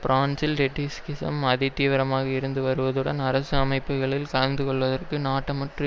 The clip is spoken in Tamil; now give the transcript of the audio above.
பிரான்சில் ட்ரொட்ஸ்கிசம் அதிதீவிரமாக இருந்துவருவதுடன் அரசு அமைப்புகளில் கலந்து கொள்வதற்கு நாட்டமற்று